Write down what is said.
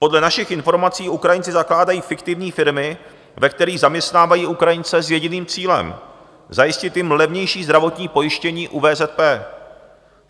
Podle našich informací Ukrajinci zakládají fiktivní firmy, ve kterých zaměstnávají Ukrajince s jediným cílem - zajistit jim levnější zdravotní pojištění u VZP.